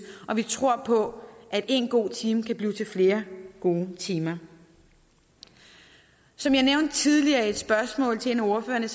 og vi tror på at en god time kan blive til flere gode timer som jeg nævnte tidligere i et spørgsmål til en af ordførerne